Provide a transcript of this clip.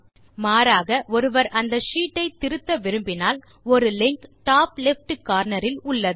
மாறாக ஒருவர் அந்த ஷீட் ஐ திருத்த விரும்பினால் ஒரு லிங்க் டாப் லெஃப்ட் கார்னர் இல் உள்ளது